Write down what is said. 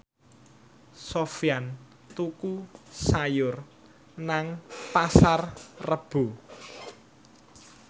Sofyan tuku sayur nang Pasar Rebo